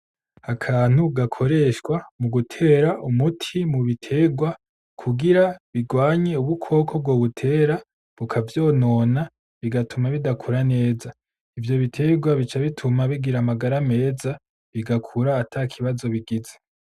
Akantu gakoreshwa mu gutera umuti mu biterwa kugira bigwanye ubukoko bwobitera bukavyonona bigatuma bidakura neza, ivyo biterwa bica bituma bigira amagara meza bigakura atakibazo bigize.